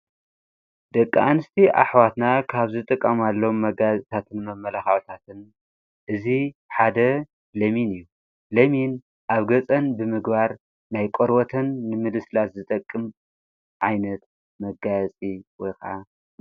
ደቂ ኣንስቲ ኣኅዋትና ካብዝ ጥቃም ኣሎም መጋያታትን መመላሃውታትን እዙ ሓደ ለምን እዩ ለሚን ኣብ ገጸን ብምግባር ናይ ቆርወተን ንምድስላት ዝጠቅም ዓይነት መጋያጺ እዩ።